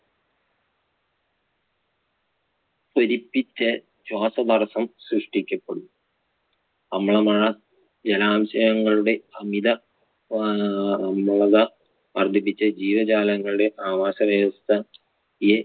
ശ്വാസ തടസ്സം സൃഷ്ടിക്കപ്പെടും അമ്ല മഴ ജലാംശങ്ങളുടെ അമിത അമ്ലത വർദ്ധിപ്പിച്ച് ജീവജാലങ്ങളുടെ ആവാസ വ്യവസ്ഥ~യെ